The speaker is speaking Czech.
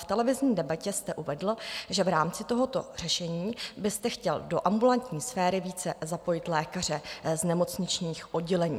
V televizní debatě jste uvedl, že v rámci tohoto řešení byste chtěl do ambulantní sféry více zapojit lékaře z nemocničních oddělení.